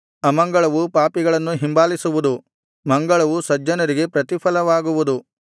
ಅಮಂಗಳವು ಪಾಪಿಗಳನ್ನು ಹಿಂಬಾಲಿಸುವುದು ಮಂಗಳವು ಸಜ್ಜನರಿಗೆ ಪ್ರತಿಫಲವಾಗುವುದು